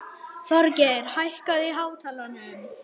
Hróðgeir, hækkaðu í hátalaranum.